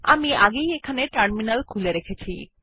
আমি আগেই এখানে টার্মিনাল খুলে রেখেছি